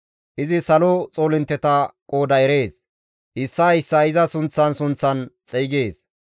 Izi salo xoolintteta qooda erees; issaa issaa iza sunththan sunththan xeygees.